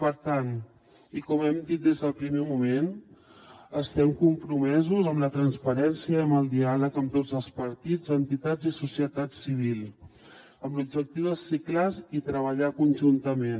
per tant i com hem dit des del primer moment estem compromesos amb la transparència i amb el diàleg amb tots els partits entitats i societat civil amb l’objectiu de ser clars i treballar conjuntament